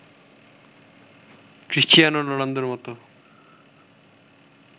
Cristiano রোনালদোর মতো